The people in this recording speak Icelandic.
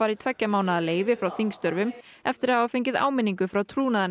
í tveggja mánaða leyfi frá þingstörfum eftir að hafa fengið áminningu frá